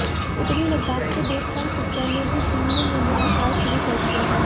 उत्तरी लद्दाख के डेप्सांग सेक्टर में भी चीन ने निर्माण कार्य शुरू कर दिया है